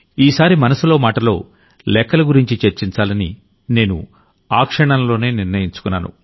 ఈసారి మనసులో మాటలో లెక్కల గురించి చర్చించాలని నేను ఆ క్షణంలోనే నిర్ణయించుకున్నాను